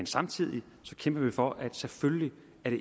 samtidig for at det selvfølgelig